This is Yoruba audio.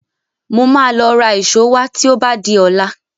Mo máa lọ ra ìṣó wá tí ó bá di ọ̀la